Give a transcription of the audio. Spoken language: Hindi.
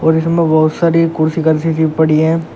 और इसमें बहुत सारी कुर्सी कार्सी सी पड़ी हैं।